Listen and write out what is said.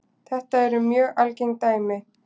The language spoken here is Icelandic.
Þetta eru mjög algeng dæmi.